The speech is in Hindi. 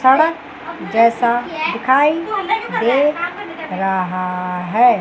सड़क जैसा दिखाई दे रहा है।